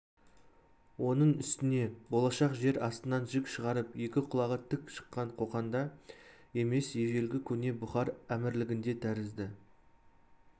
оның үстіне болашақ жер астынан жік шығарып екі құлағы тік шыққан қоқанда емес ежелгі көне бұхар әмірлігінде тәрізді